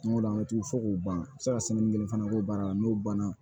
Tuma dɔw la an bɛ t'u fɔ k'u ban u bɛ se ka kelen fana k'o baara la n'o banna